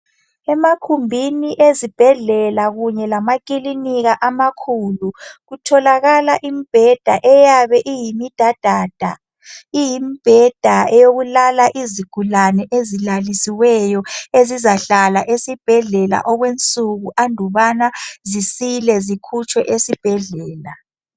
Emakhumbini ezibhedlela kunye lamakilinika amakhulu, kutholakala imbheda eyabe eyimidadada. Iyimibheda eyokulala izigulane ezilalisiweyo. Ezizahlala esibhedlela okwensuku anduba zisile, zikhutshwe esibhedlela.